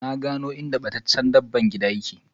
Na gano inda battaccce dabban gida ka yake.